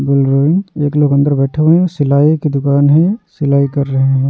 एक लोक अंदर बैठे हुए है सिलाई की दुकान है सिलाई कर रहे हैं।